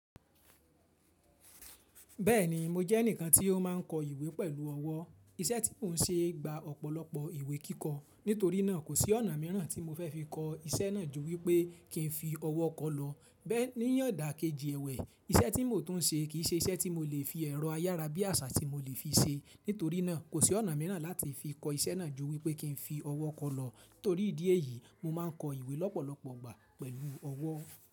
Bẹ́ẹ̀ni mo jẹ́ ẹnìkan tí ó máa ń kọ ìwé pẹ̀lú ọwọ́. Iṣẹ́ tí mò ń ṣe gba ọ̀pọ̀lọpọ̀ ìwé kíkọ. Nítorí náà kò sí ọ̀nà míràn tí mo fẹ́ fi kọ iṣẹ́ náà ju wípẹ́ kí ń fi ọwọ́ kọ lọ. Bẹ́ẹ̀ níyàn dà keji èwè. Iṣẹ́ tí mò tún n ṣe kì í ṣe iṣẹ́ tí mo lè fi ẹ̀rọ ayára bí àṣá tí mo lè fi ṣe. Nítorí náà kò sí ọ̀nà míràn láti fi kọ iṣẹ́ náà ju wípẹ́ kí ń fi ọwọ́ kọ lọ. Nítorí ìdí èyí, mo máa ń kọ ìwé lọ́pọ̀lọpọ̀ ìgbà pẹ̀lú ọwọ́.